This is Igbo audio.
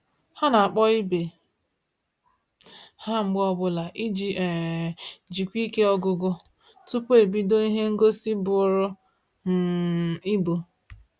Ha na-akpọ ibe ha mgbe ọbụla iji um jikwa ike ọgụgụ tupu ebido ihe ngosi bụrụ um ibu